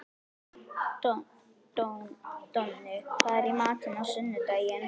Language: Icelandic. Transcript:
Donni, hvað er í matinn á sunnudaginn?